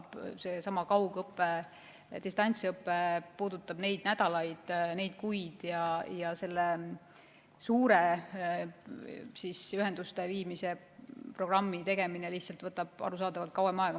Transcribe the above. Seesama kaugõpe, distantsõpe puudutab neid nädalaid ja kuid, aga selle suure ühenduste viimise programmi tegemine võtab arusaadavalt kauem aega.